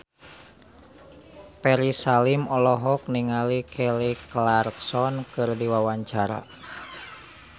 Ferry Salim olohok ningali Kelly Clarkson keur diwawancara